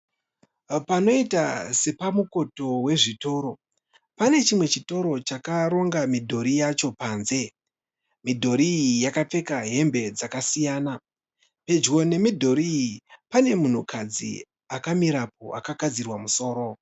Panoita sepamukoti wezvitoro. Panechimwe chitoro chakaronga midhori yacho panze. Midhori iyi yakapfeka hembe dzakasiyana . Pedyo nemidhori iyi pane munhukadzi akamirapo akagadzirwa musoro.